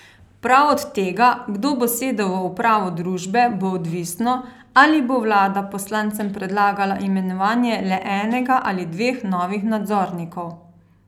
Prav od tega, kdo bo sedel v upravo družbe, bo odvisno, ali bo vlada poslancem predlagala imenovanje le enega ali dveh novih nadzornikov.